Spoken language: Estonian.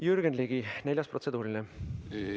Jürgen Ligi, neljas protseduuriline küsimus!